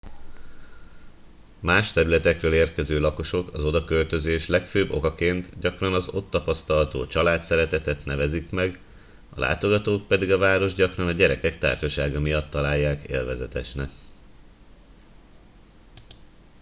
más területekről érkező lakosok az odaköltözés legfőbb okaként gyakran az ott tapasztalható családszeretetet nevezik meg a látogatók pedig a várost gyakran a gyerekek társasága miatt találják élvezetesnek